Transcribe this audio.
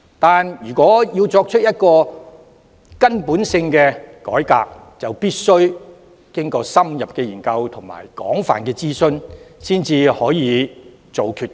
然而，要作出根本改革，便必須經過深入研究和廣泛諮詢，才可下決定。